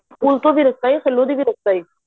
ਪੁੱਲ ਤੋ ਰਸਤਾ ਏ ਥੱਲੋ ਦੀ ਵੀ ਰਸਤਾ ਏ